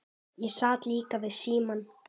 Ég sat líka við símann.